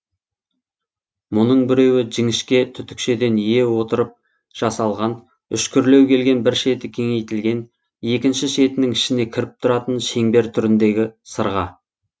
мұның біреуі жіңішке түтікшеден ие отырып жасалған үшкірлеу келген бір шеті кеңейтілген екінші шетінің ішіне кіріп тұратын шеңбер түріндегі сырға